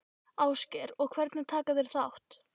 Ásgeir: Og hvernig taka þeir þátt?